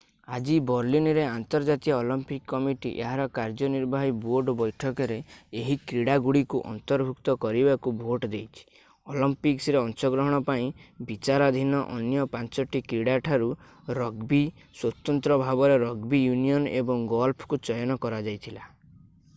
ଆଜି ବର୍ଲିନରେ ଆନ୍ତର୍ଜାତୀୟ ଅଲିମ୍ପିକ୍ କମିଟି ଏହାର କାର୍ଯ୍ୟନିର୍ବାହୀ ବୋର୍ଡ ବୈଠକରେ ଏହି କ୍ରୀଡାଗୁଡ଼ିକୁ ଅନ୍ତର୍ଭୁକ୍ତ କରିବାକୁ ଭୋଟ୍ ଦେଇଛି ଅଲିମ୍ପିକ୍ସରେ ଅଂଶଗ୍ରହଣ ପାଇଁ ବିଚାରାଧୀନ ଅନ୍ୟ ପାଞ୍ଚଟି କ୍ରୀଡା ଠାରୁ ରଗବୀ ସ୍ୱତନ୍ତ୍ର ଭାବରେ ରଗବୀ ୟୁନିଅନ୍ ଏବଂ ଗଲ୍ଫକୁ ଚୟନ କରାଯାଇଥିଲା